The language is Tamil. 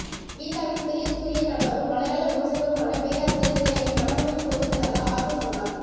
கீதாவின் பிரியத்துக்குரிய கணவரும் மலையாள விமர்சகருமான பேராசிரியர் ஹிரண்யன் மனமுடைந்து போய்விட்டதாக ஆற்றூர் சொன்னார்